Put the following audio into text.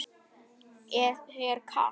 Er þér kalt?